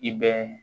I bɛ